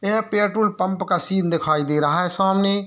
यह petrol pump का scene दिखाई दे रहा है सामने।